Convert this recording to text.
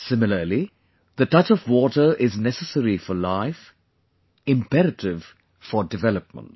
Similarly, the touch of water is necessary for life; imperative for development